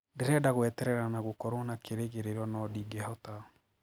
Ndirenda gweterera na gũkorwo na kirigiriro no ndingehota.